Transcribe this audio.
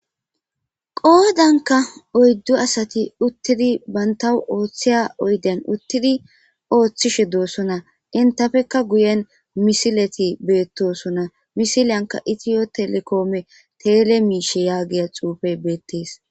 Qoodankka oyddu asathi uththidi banththawu ooththiya oyden uththidi ooththishe doossona; enthapekka guyen misilethi beeththoosona; misiliyankka ethiyo telekoome tele miishshe yaagiya xuufe beeththees.